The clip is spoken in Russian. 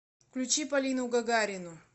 включи полину гагарину